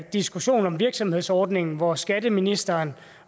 diskussion om virksomhedsordningen hvor skatteministeren